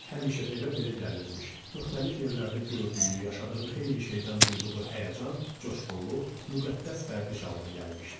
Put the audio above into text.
Həmişə evə belə gəlirmiş: müxtəlif yerlərdə gördüyü, yaşadığı xeyli şeydən duyduğu həyəcan, coşğunluq müqəddəs fərdi şalına gəlmişdi.